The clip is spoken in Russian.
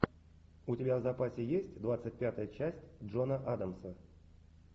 у тебя в запасе есть двадцать пятая часть джона адамса